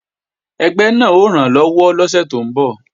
Ẹgbẹ́ náà ó rànlọ́wọ́ lọ́sẹ̀ tó ń bọ̀